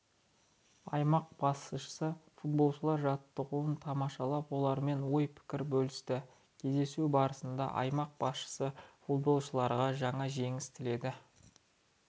аймақ басшысы футболшылар жаттығуын тамашалап олармен ой-пікір бөлісті кездесу барысында аймақ басшысы футболшыларға жаңа жеңіс тіледі